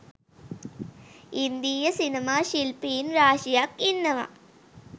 ඉන්දීය සිනමා ශිල්පීන් රාශියක් ඉන්නව